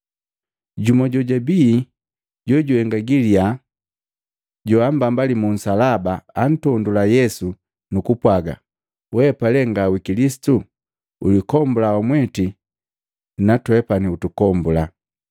Jumu jojabii jojuhenga galiya babaambalii mu nsalaba antondula Yesu nu kupwaga, “Weapa le nga wi Kilisitu? Ulikombula wamweti na twe utumbula!”